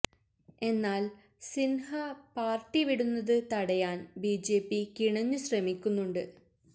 എന്നാല് സിന്ഹ പാര്ട്ടി വിടുന്നത് തടയാന് ബി ജെ പി കിണഞ്ഞു ശ്രമിക്കുന്നുണ്ട്